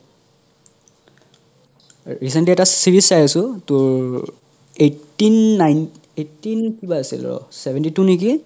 recently এটা series চাই আছো উম eighteen nine eighteen কিবা আছিল ৰহ seventy two নেকি